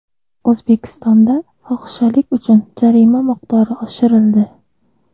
O‘zbekistonda fohishalik uchun jarima miqdori oshirildi.